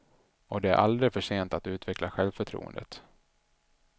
Och det är aldrig försent att utveckla självförtroendet.